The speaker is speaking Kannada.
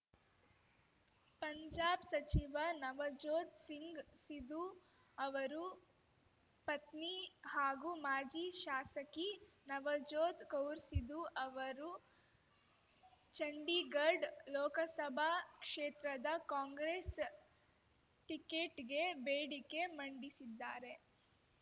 ಪಂಜಾಬ್‌ ಸಚಿವ ನವಜೋತ್‌ ಸಿಂಗ್‌ ಸಿಧು ಅವರು ಪತ್ನಿ ಹಾಗೂ ಮಾಜಿ ಶಾಸಕಿ ನವಜೋತ್‌ ಕೌರ್‌ ಸಿಧು ಅವರು ಚಂಡೀಗಡ್ ಲೋಕಸಭಾ ಕ್ಷೇತ್ರದ ಕಾಂಗ್ರೆಸ್‌ ಟಿಕೆಟ್‌ಗೆ ಬೇಡಿಕೆ ಮಂಡಿಸಿದ್ದಾರೆ